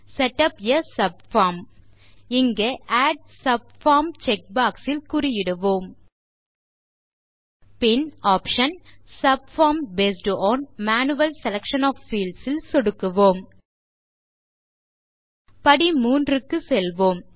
set up a subform இங்கே add subform checkbox ல் குறியிடுவோம் பின் option subform based on manual selection of fields ல் சொடுக்குவோம் படி 3 க்குச் செல்வோம்